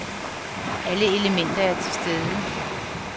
Alle elementer er til stede.